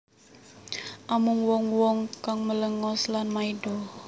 Amung wong wong kang malengos lan maido